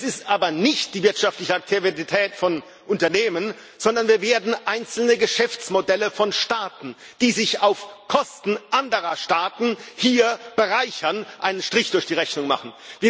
Es ist aber nicht die wirtschaftliche Aktivität von Unternehmen, sondern wir werden einzelnen Geschäftsmodellen von Staaten, die sich auf Kosten anderer Staaten hier bereichern, einen Strich durch die Rechnung machen.